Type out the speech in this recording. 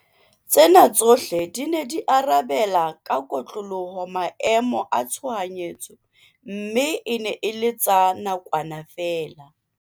Tsena tsohle di ne di arabe la ka kotloloho maemo a tshohanyetso mme e ne e le tsa nakwana feela.